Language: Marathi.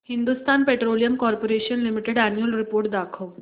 Hindustan petroleum corporation limited annual report दाखव